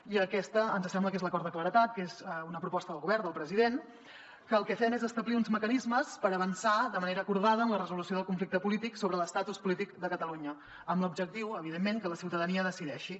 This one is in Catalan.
i aquesta ens sembla que és l’acord de claredat que és una proposta del govern del president que el que fem és establir uns mecanismes per avançar de manera acordada en la resolució del conflicte polític sobre l’estatus polític de catalunya amb l’objectiu evidentment que la ciutadania decideixi